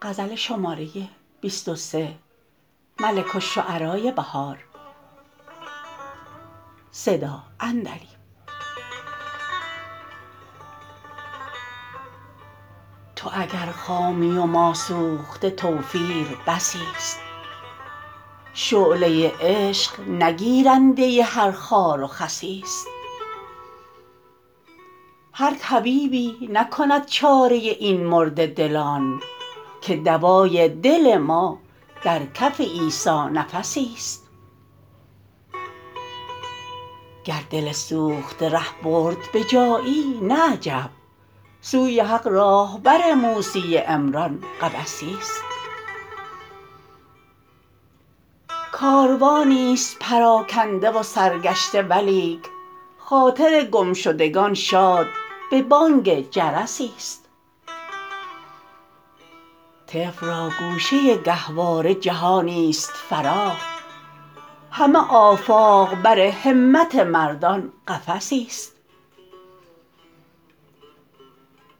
تو اگر خامی و ما سوخته توفیر بسی است شعله عشق نه گیرنده هر خاروخسی است هر طبیبی نکند چاره این مرده دلان که دوای دل ما درکف عیسی نفسی است گر دل سوخته ره برد به جایی نه عجب سوی حق راهبر موسی عمران قبسی است کاروانی است پراکنده و سرگشته ولیک خاطر گمشدگان شاد به بانگ جرسی است طفل راگوشه گهواره جهانی است فراخ همه آفاق بر همت مردان قفسی است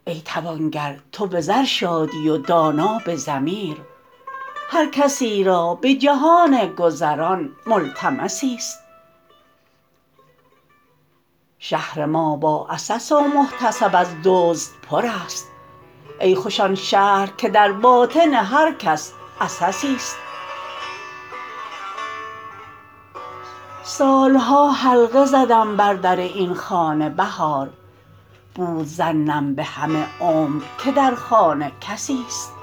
ای توانگر تو به زر شادی و دانا به ضمیر هر کسی را به جهان گذران ملتمسی است شهر ما با عسس و محتسب از دزد پر است ای خوش آن شهر که در باطن هر کس عسسی است سال ها حلقه زدم بر در این خانه بهار بود ظنم به همه عمر که در خانه کسی است